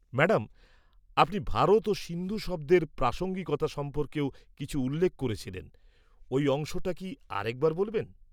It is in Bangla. ম্যাডাম, আপনি ভারত ও সিন্ধু শব্দের প্রাসঙ্গিকতা সম্পর্কেও কিছু উল্লেখ করেছিলেন; ওই অংশটা কি আরেকবার বলবেন?